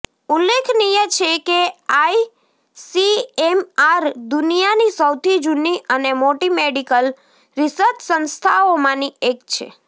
ઉલ્લેખનીય છે કે આઈસીએમઆર દુનિયાની સૌથી જૂની અને મોટી મેડિકલ રિસર્ચ સંસ્થાઓમાંની એક છે